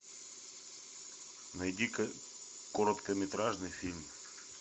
найди ка короткометражный фильм